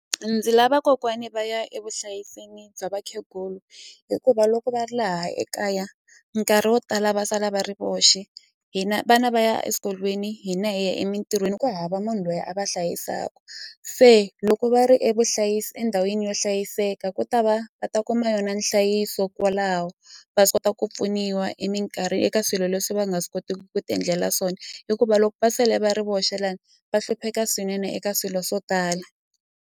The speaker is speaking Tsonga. Ndzi lava kokwani va ya evuhlayisweni bya vakhegula hikuva loko va ri laha ekaya nkarhi wo tala va sala va ri voxe hina vana va ya eswikolweni hina hi ya emintirhweni ku hava munhu loyi a va hlayisaka se loko va ri e vuhlayisi endhawini yo hlayiseka ku ta va va ta kuma yona nhlayiso kwalaho va swi kota ku pfuniwa eka swilo leswi va nga swi kotiki ku ti endlela swona hikuva loko va sele va ri voxe lani va hlupheka swinene eka swilo swo tala.